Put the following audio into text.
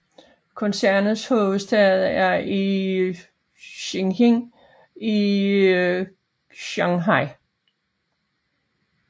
Koncernens hovedsæde er i Xining i Qinghai